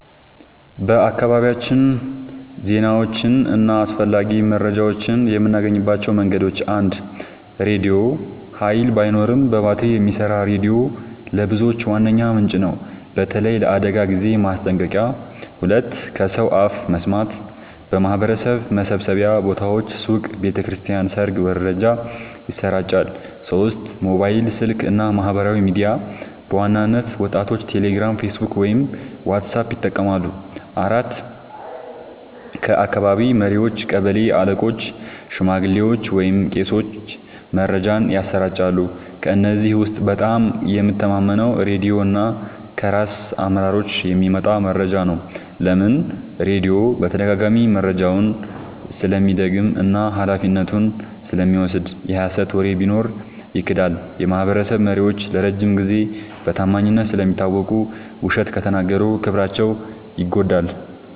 በአካባቢያችን ዜናዎችን እና አስፈላጊ መረጃዎችን የምናገኝባቸው መንገዶች፦ 1. ራድዮ – ኃይል ባይኖርም በባትሪ የሚሰራ ሬዲዮ ለብዙዎች ዋነኛ ምንጭ ነው፣ በተለይ ለአደጋ ጊዜ ማስጠንቀቂያ። 2. ከሰው አፍ መስማት – በማህበረሰብ መሰብሰቢያ ቦታዎች (ሱቅ፣ ቤተ ክርስቲያን፣ ሰርግ) መረጃ ይሰራጫል። 3. ሞባይል ስልክ እና ማህበራዊ ሚዲያ – በዋናነት ወጣቶች ቴሌግራም፣ ፌስቡክ ወይም ዋትስአፕ ይጠቀማሉ። 4. ከአካባቢ መሪዎች – ቀበሌ አለቆች፣ ሽማግሌዎች ወይም ቄሶች መረጃን ያሰራጫሉ። ከእነዚህ ውስጥ በጣም የምተማመነው ራድዮ እና ከራስ አመራሮች የሚመጣ መረጃ ነው። ለምን? · ራድዮ በተደጋጋሚ መረጃውን ስለሚደግም እና ኃላፊነቱን ስለሚወስድ። የሀሰት ወሬ ቢኖር ይክዳል። · የማህበረሰብ መሪዎች ለረጅም ጊዜ በታማኝነት ስለሚታወቁ፣ ውሸት ከተናገሩ ክብራቸው ይጎዳል።